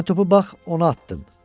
Mən topu bax ona atdım.